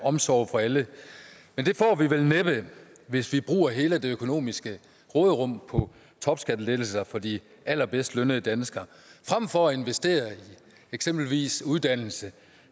omsorg for alle men det får vi vel næppe hvis vi bruger hele det økonomiske råderum på topskattelettelser for de allerbedst lønnede danskere frem for at investere eksempelvis i uddannelse og